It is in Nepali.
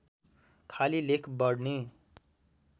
खाली लेख बढ्ने